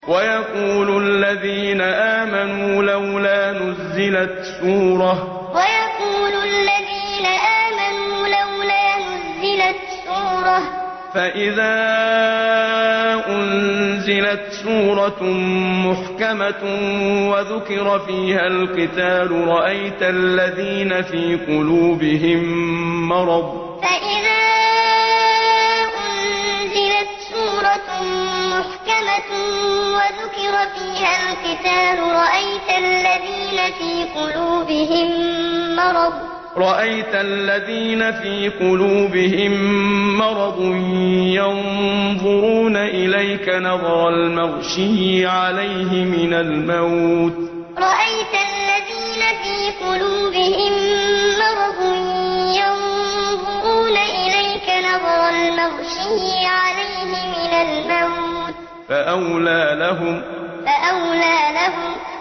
وَيَقُولُ الَّذِينَ آمَنُوا لَوْلَا نُزِّلَتْ سُورَةٌ ۖ فَإِذَا أُنزِلَتْ سُورَةٌ مُّحْكَمَةٌ وَذُكِرَ فِيهَا الْقِتَالُ ۙ رَأَيْتَ الَّذِينَ فِي قُلُوبِهِم مَّرَضٌ يَنظُرُونَ إِلَيْكَ نَظَرَ الْمَغْشِيِّ عَلَيْهِ مِنَ الْمَوْتِ ۖ فَأَوْلَىٰ لَهُمْ وَيَقُولُ الَّذِينَ آمَنُوا لَوْلَا نُزِّلَتْ سُورَةٌ ۖ فَإِذَا أُنزِلَتْ سُورَةٌ مُّحْكَمَةٌ وَذُكِرَ فِيهَا الْقِتَالُ ۙ رَأَيْتَ الَّذِينَ فِي قُلُوبِهِم مَّرَضٌ يَنظُرُونَ إِلَيْكَ نَظَرَ الْمَغْشِيِّ عَلَيْهِ مِنَ الْمَوْتِ ۖ فَأَوْلَىٰ لَهُمْ